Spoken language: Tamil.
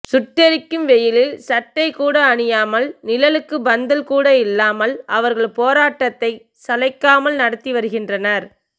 சுட்டெரிக்கும் வெயிலில் சட்டை கூட அணியாமல் நிழலுக்கு பந்தல் கூட இல்லாமல் அவர்கள் போராட்டத்தை சளைக்காமல் நடத்தி வருகின்றனர்